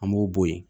An b'o bɔ yen